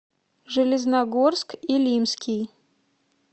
железногорск илимский